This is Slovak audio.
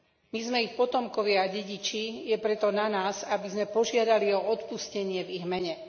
My sme ich potomkovia a dediči, je preto na nás, aby sme požiadali o odpustenie v ich mene.